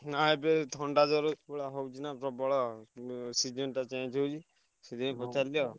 ନାଇଁ ଏବେତ ଥଣ୍ଡା ଜ୍ଵର ହଉଛିନା ପ୍ରବଳ ଉଁ season ଟା change ହଉଛି ସେଇଥିପାଇଁ ପଚାରିଲି ଆଉ।